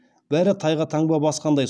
бәрі тайға таңба басқандай